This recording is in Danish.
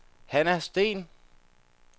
Hanna Steen